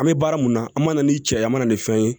An bɛ baara mun na an mana ni cɛ ye an mana ni fɛn ye